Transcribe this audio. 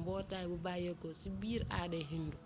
mbootay bu bayéko ci biir aaday hindu